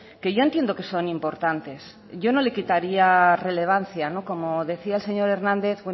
que yo entiendo que son importantes yo no le quitaría relevancia como decía el señor hernández